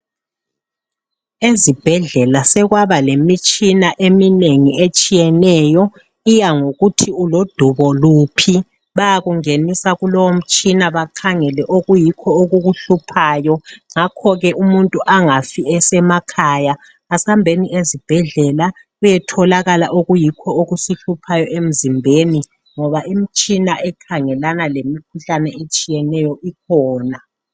Ezibhedlela sokwaba lemitshina etshiyeneyo iyangokuthi ulodubo luphi, bayakungenisa kulowomtshina bakhangele okuyikho okukuhluphayo, ngakho ke umuntu angafi esemakhaya asambeni ezibhedlela kuyetholakala okuyikho okusihluphayo emizimbeni ngoba imitshina ekhangelana lemikhuhlanevetshiyeneyo ikhona.